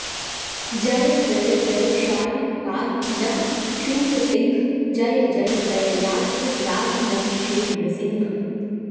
जय जय जयशालिन्पाहि नः शूरसिंह जय जय दययार्द्र त्राहि नः श्रीनृसिंह